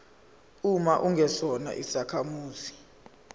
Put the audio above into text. uma ungesona isakhamuzi